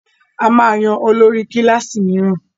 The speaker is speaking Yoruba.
A máa yan olórí kílàsì míràn.